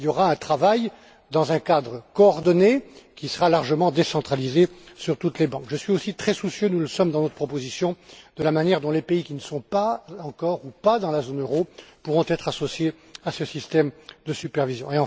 Il y aura un travail dans un cadre coordonné, qui sera largement décentralisé au niveau de toutes les banques. Je suis et nous sommes, dans notre proposition, très soucieux de la manière dont les pays qui ne sont pas encore ou pas dans la zone euro pourront être associés à ce système de supervision.